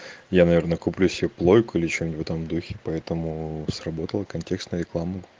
я наверное куплю себе плойку или что-нибудь в этом духе поэтому сработала контекстная реклама